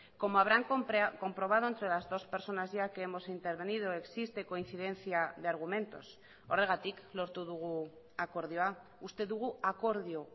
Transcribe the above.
como habrán comprobado entre las dos personas ya que hemos intervenido existe coincidencia de argumentos horregatik lortu dugu akordioa uste dugu akordio